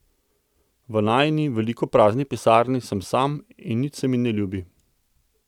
V najini veliki prazni pisarni sem sam in nič se mi ne ljubi.